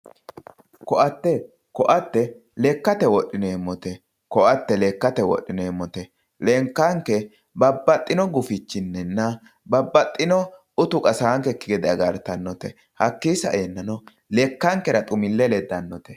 koatte koatte lekkate wodhineemmote koatte lekkate wodhineemmote lekkanke babbaxino gufichininna babbaxino uti qasaankekki gede agartanonkete hakkii saeennano lekkankera xumille leddanote